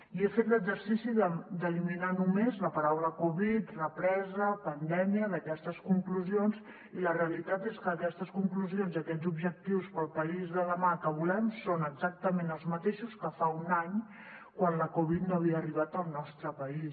i he fet l’exercici d’eliminar només les paraules covid represa pandèmia d’aquestes conclusions i la realitat és que aquestes conclusions i aquests objectius per al país de demà que volem són exactament els mateixos que fa un any quan la covid no havia arribat al nostre país